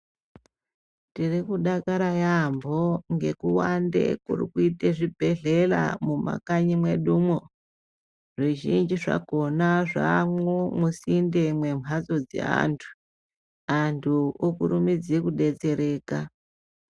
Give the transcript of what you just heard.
Tiri kudakara yaampo ngekuwande kuri kuite zvibhedhlela mumakanyi mwedumwozvizhinji zvakhona zvaamwo musinde mwemhatso dzevantu antu okurumidze kudetsereka